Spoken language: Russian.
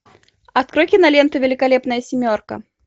открой киноленту великолепная семерка